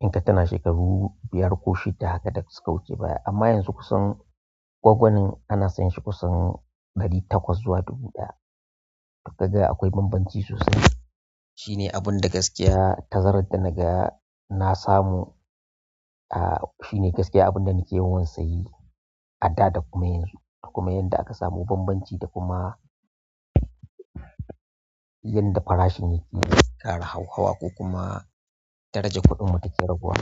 In ka tina shekaru biyar ko shida haka da suka wuce baya amma yanzu kusan gwangwanin ana sayan shi kusan ɗari takwas zuwa dubu ɗaya. Toka ga akwai bambanci sosai. Shine abin da gaskiya tazarad da naga na samu a shine gaskiya abin da nake ya wansa yi a da da kuma yanzu. Da kuma yanda aka samu bambanci da kuma yadda farashin yake ƙara hauhawa ko kuma darajar kuɗin mu take raguwa.